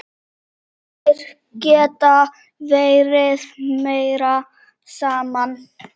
Þær geta verið meira saman.